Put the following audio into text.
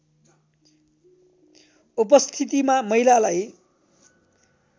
उपस्थितिमा महिलालाई